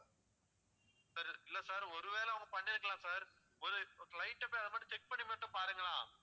sir இல்ல sir ஒருவேளை அவங்க பண்ணிருக்கலாம் sir ஒரு light ஆ போய் அதை மட்டும் check பண்ணி மட்டும் பாருங்களேன்.